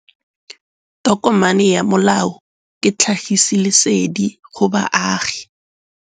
Tokomane ya molao ke tlhagisi lesedi go baagi.